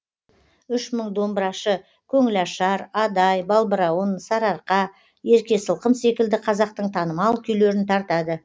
үш мың домбырашы көңіл ашар адай балбырауын сарыарқа ерке сылқым секілді қазақтың танымал күйлерін тартады